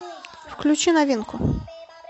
включи новинку